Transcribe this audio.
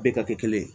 Bɛɛ ka kɛ kelen ye